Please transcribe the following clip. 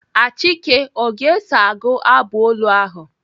Achike ọ ga-eso agụ abụ olu ahụ?